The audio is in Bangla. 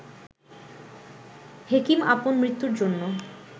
হেকিম আপন মৃত্যুর জন্য